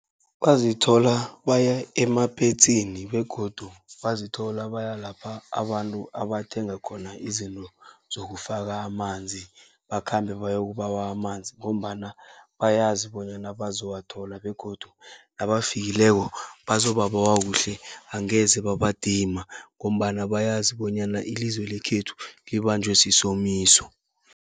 Bazithola baya emapetsini begodu bazithola baya lapha abantu abathenga khona izinto zokufaka amanzi. Bakhambe bayokubawa amanzi ngombana bayazi bonyana bazowathola begodu nabafikileko bazobabawa kuhle angeze babadima. Ngombana bayazi bonyana ilizwe lekhethu libanjwe sisomiso.